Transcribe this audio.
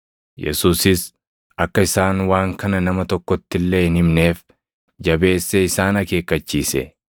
Yesuusis akka isaan waan kana nama tokkotti illee hin himneef jabeessee isaan akeekkachiise.